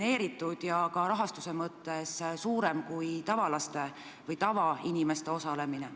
See võiks ehk olla rahaliselt rohkem toetatud kui tavaliste laste või täiskasvanute sportimine.